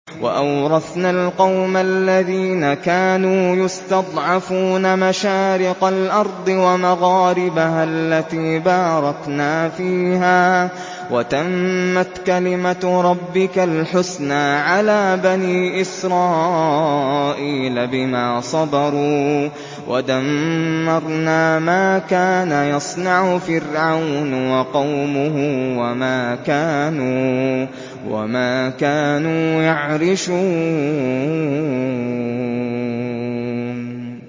وَأَوْرَثْنَا الْقَوْمَ الَّذِينَ كَانُوا يُسْتَضْعَفُونَ مَشَارِقَ الْأَرْضِ وَمَغَارِبَهَا الَّتِي بَارَكْنَا فِيهَا ۖ وَتَمَّتْ كَلِمَتُ رَبِّكَ الْحُسْنَىٰ عَلَىٰ بَنِي إِسْرَائِيلَ بِمَا صَبَرُوا ۖ وَدَمَّرْنَا مَا كَانَ يَصْنَعُ فِرْعَوْنُ وَقَوْمُهُ وَمَا كَانُوا يَعْرِشُونَ